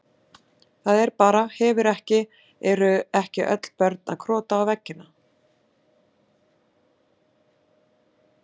Það er bara, hefur ekki, eru ekki öll börn að krota á veggina?